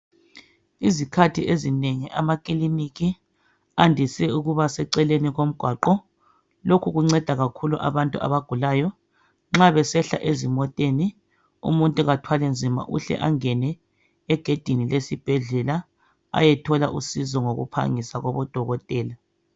Izikhathi ezinengi amakiliniki andise ukuba seceleni komgwaqo. Lokhu kunceda kakhulu abantu abagulayo . Nxa besehla ezimoteni umuntu kathwali nzima uhle angene egedini lesibhedlela ayethola usizo ngokuphangisa kubodokotela.